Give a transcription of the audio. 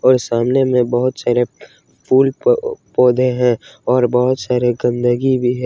और सामने में बहुत सारे फूल पौधे हैं और बहुत सारे गंदगी भी है।